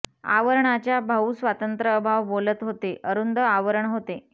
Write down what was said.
आवरणाच्या भाऊ स्वातंत्र्य अभाव बोलत होते अरुंद आवरण होते